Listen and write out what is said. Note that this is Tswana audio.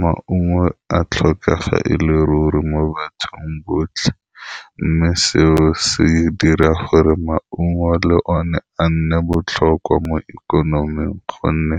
Maungo a tlhokega ele ruri mo bathong botlhe mme seo se dira gore maungo le o ne a nne botlhokwa mo ikonoming, gonne